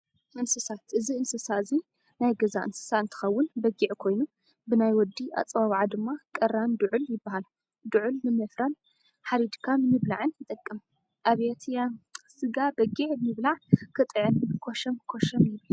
እነስሳት፦ እዚ እንስሳ እዙይ ናይ ገዛ እነስሳ እንትከው በጊዕ ኮይኑ ብናይ ወዲ ኣፀዋዋዓ ድማ ቀራን ድዑል ይበሃል። ድዑል ንምፍራን ሓሪድካ ንምብላዕን ይጠቅም። ኣብየትየ! ስጋ በጊዕ ምብላዕ ክጥዕም ኮሸም ኮሸም ይብል።